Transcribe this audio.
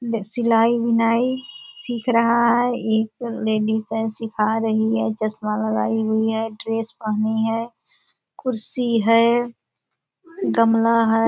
जे सिलाई-बिनाई सिख रहा है एक लेडीज है सिखा रही है चश्मा लगाई हुई है ड्रेस पहनी है कुर्सी है गमला है।